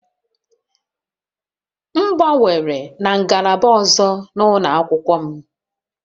M gbanwere na ngalaba ọzọ n'ụlọ akwụkwọ m